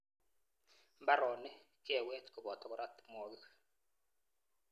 Mbaronik, keweet koboto kora timwokik.